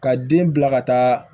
Ka den bila ka taa